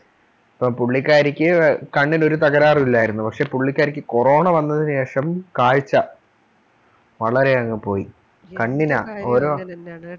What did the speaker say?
പുള്ളിക്കാരിക്ക് കണ്ണിനൊരു തകരാറുല്ലായിരുന്നു പക്ഷേ പുള്ളിക്കാരിക്ക് corona വന്നതിനു ശേഷം കാഴ്ച വളരെയങ് പോയി കണ്ണിനാ ഓരോ ഏതു കാര്യവും അങ്ങനെ താനെ ആണ്